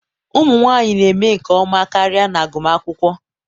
ụmụ nwanyị na-eme nke ọma karịa n'agụmakwụkwọ.